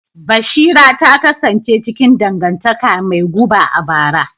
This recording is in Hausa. Bashira ta kasance cikin dangantaka mai guba a bara.